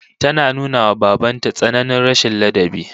Ta nuna wa baban ta tsananin rashin ladabi